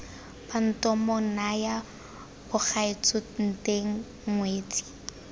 bantomo nnyaya bagaetsho nteng ngwetsi